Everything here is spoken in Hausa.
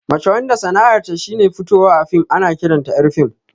Mace wanda sana'ar ta shine fitowa a fim ana ƙiranta ƴar fim